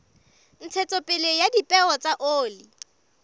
ntshetsopele ya dipeo tsa oli